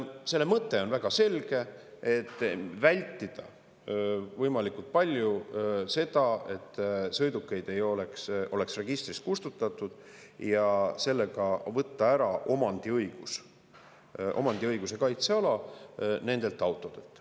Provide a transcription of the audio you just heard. " Selle mõte on väga selge: vältida võimalikult palju seda, et sõidukeid ei oleks registrist kustutatud, ja sellega võtta ära omandiõiguse kaitseala nendelt autodelt.